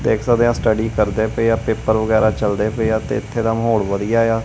ਦੇਖ ਸਕਦੇ ਆਂ ਸਟਡੀ ਕਰਦੇ ਪਏ ਆ ਪੇਪਰ ਵਗੈਰਾ ਚਲਦੇ ਪਏ ਆ ਤੇ ਇੱਥੇ ਦਾ ਮਾਹੌਲ ਵਧੀਆ ਏ ਆ।